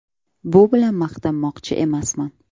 Bu bilan maqtanmoqchi emasman.